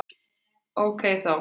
Ókei þá!